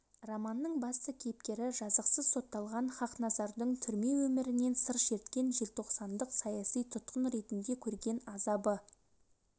романның басты кейіпкері жазықсыз сотталған хақназардың түрме өмірінен сыр шерткен желтоқсандық саяси тұтқын ретінде көрген азабы